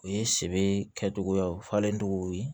U ye se kɛcogoyaw fɔlen togow ye